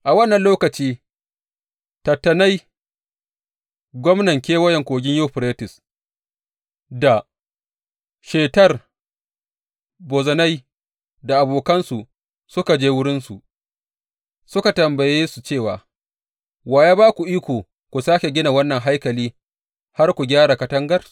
A wannan lokaci, Tattenai gwamnan Kewayen Kogin Yuferites, da Shetar Bozenai da abokansu suka je wurinsu suka tambaye su cewa, Wa ya ba ku iko ku sāke gina wannan haikali har ku gyara katangar?